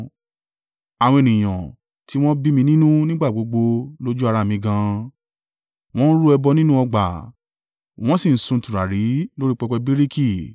àwọn ènìyàn tí wọ́n bí mi nínú nígbà gbogbo lójú ara mi gan an, wọ́n ń rú ẹbọ nínú ọgbà wọ́n sì ń sun tùràrí lórí i pẹpẹ bíríkì;